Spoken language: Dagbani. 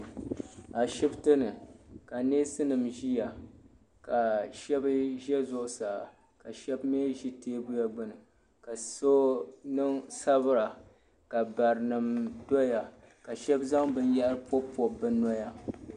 A shibtini kaneesinim ʒiya ka shabi ʒɛ zuɣu saa ka shabi mi ʒɛ teebuya gbuni ka so sabira barimi doya kashabi zaŋ bin yahiri pɔbpɔb bi nɔya